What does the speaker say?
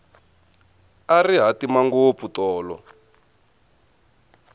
a ri hatima ngopfu tolo